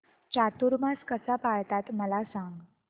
चातुर्मास कसा पाळतात मला सांग